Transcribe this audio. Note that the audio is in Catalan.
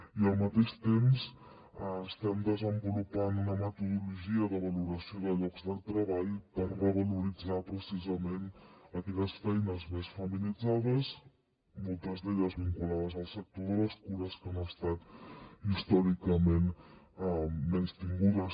i al mateix temps estem desenvolupant una metodologia de valoració de llocs de treball per revaloritzar precisament aquelles feines més feminitzades moltes d’elles vinculades al sector de les cures que han estat històricament menystingudes